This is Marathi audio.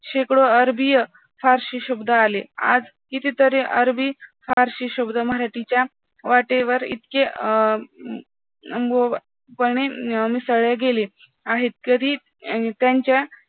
शेकडो आरबीय पारसी शब्द आले, आज कितीतरी अरबी पारसी शब्द मराठीच्या वाटेवर इतके अं मिसळले गेले आहेत तरी त्यांच्या